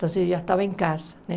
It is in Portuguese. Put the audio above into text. Então eu já estava em casa, né?